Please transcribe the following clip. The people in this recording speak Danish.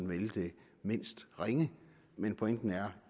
vælge den mindst ringe men pointen er